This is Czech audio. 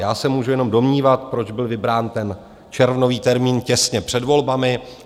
Já se můžu jenom domnívat, proč byl vybrán ten červnový termín těsně před volbami.